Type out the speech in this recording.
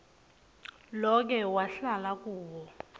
loke wahlala kuwo